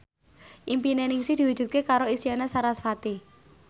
impine Ningsih diwujudke karo Isyana Sarasvati